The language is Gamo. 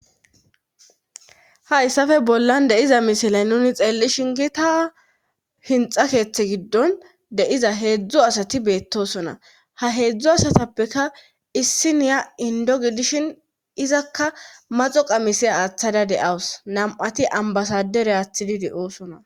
Hayssafe bollan deiza misilay nuni xeelli shingi ta hinxa keeththe giddon deiza heedzdzo asati beettosona ha heedzdzo asatappeka issi niya indo gidishin izakka maxo qamise aaththada deawus nam'ati ambasadere aathidi de'oosona.